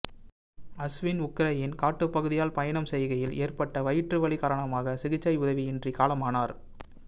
அஸ்வின் உக்ரைனின் காட்டுபகுதியால் பயணம் செய்கையில் ஏற்பட்ட வயிற்று வலி காரணமாக சிகிச்சை உதவியின்றி காலமானார்